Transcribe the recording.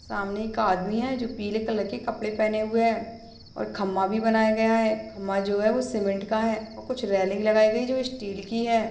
सामने एक आदमी हैं जो पीले कलर के कपड़े पहने हुए है और खम्बा भी बना हुआ हैं खम्बा जो हैं वो सीमेंट का है और कुछ रेलिंग लगाई गई है जो स्टील की है।